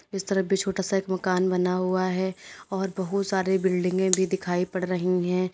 इस तरफ भी छोटा सा एक मकान बना हुआ है और बहुत सारे बिल्डिंगें भी दिखाई पड़ रही हैं।